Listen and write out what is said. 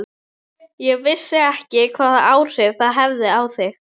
Ég vissi ekki hvaða áhrif það hefði á þig.